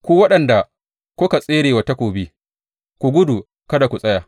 Ku waɗanda kuka tsere wa takobi, ku gudu kada ku tsaya!